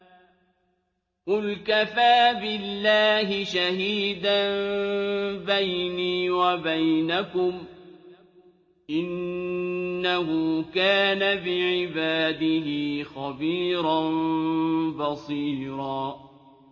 قُلْ كَفَىٰ بِاللَّهِ شَهِيدًا بَيْنِي وَبَيْنَكُمْ ۚ إِنَّهُ كَانَ بِعِبَادِهِ خَبِيرًا بَصِيرًا